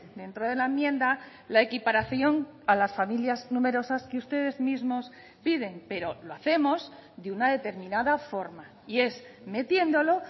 dentro de la enmienda la equiparación a las familias numerosas que ustedes mismos piden pero lo hacemos de una determinada forma y es metiéndolo